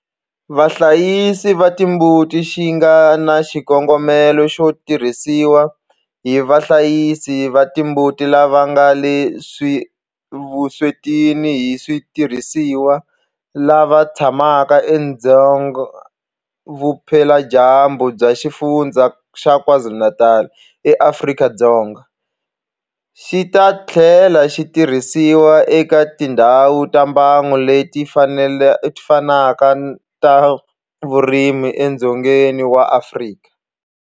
Vahlayisi va timbuti xi nga na xikongomelo xo tirhisiwa hi vahlayisi va timbuti lava nga le vuswetini hi switirhisiwa lava tshamaka edzonga vupeladyambu bya Xifundzha xa KwaZulu-Natal eAfrika-Dzonga, xi ta tlhela xi tirhisiwa eka tindhawu ta mbango leti fanaka ta vurimi edzongeni wa Afrika.